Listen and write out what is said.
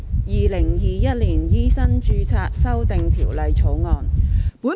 《2021年醫生註冊條例草案》。